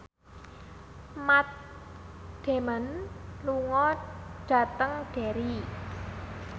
Matt Damon lunga dhateng Derry